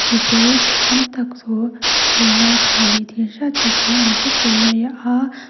mipui ? tam tak thu thusawi ngaithla ni tih hriat tak hian an thu fur mai a --